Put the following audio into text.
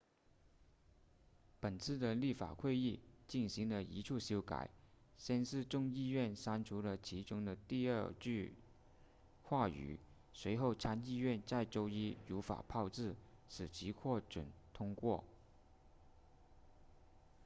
本次的立法会议进行了一处修改先是众议院删除了其中的第二句话语随后参议院在周一如法炮制使其获准通过